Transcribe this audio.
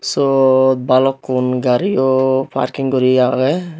syot balukkun gario parking guri agey.